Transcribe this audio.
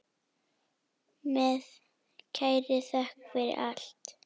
Með kærri þökk fyrir allt.